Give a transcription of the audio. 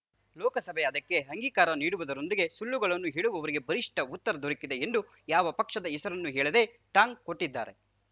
ಲೋಕಸಭೆ ಅದಕ್ಕೆ ಅಂಗೀಕಾರ ನೀಡುವುದರೊಂದಿಗೆ ಸುಳ್ಳುಗಳನ್ನು ಹೇಳುವವರಿಗೆ ಬಲಿಷ್ಠ ಉತ್ತರ ದೊರಕಿದೆ ಎಂದು ಯಾವ ಪಕ್ಷದ ಹೆಸರನ್ನೂ ಹೇಳದೇ ಟಾಂಗ್‌ ಕೊಟ್ಟಿದ್ದಾರೆ